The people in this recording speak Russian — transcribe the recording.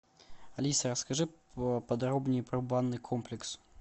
алиса расскажи подробнее про банный комплекс